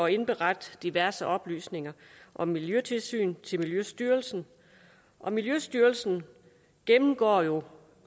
indberette diverse oplysninger om miljøtilsyn til miljøstyrelsen og miljøstyrelsen gennemgår jo